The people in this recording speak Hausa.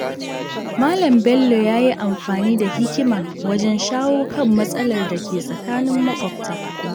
Malam Bello ya yi amfani da hikima wajen shawo kan matsalar da ke tsakanin maƙwabta.